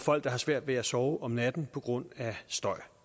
folk der har svært ved at sove om natten på grund af støj